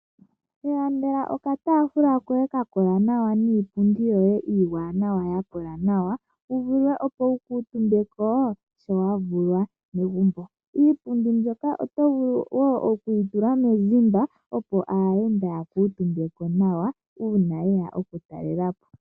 Ilandela okataafula koye kakola nawa niipundi yoye iiwanawa ya kola nawa, opo wu vule wu kuutumbe ko sho wa vulwa megumbo. Iipundi mbyoka oto vulu woo okuyi tula moseti opo aayenda yakuutumbeko nawa uuna yeya okutalelapo.